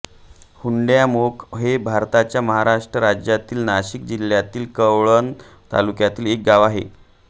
हुंड्यामोख हे भारताच्या महाराष्ट्र राज्यातील नाशिक जिल्ह्यातील कळवण तालुक्यातील एक गाव आहे